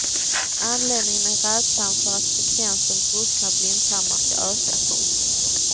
Anledningen är rädslan för att frekvensen brustna blindtarmar ska öka. punkt